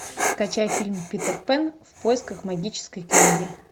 скачай фильм питер пэн в поисках магической книги